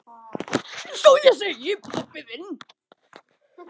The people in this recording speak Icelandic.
Eins og ég segi.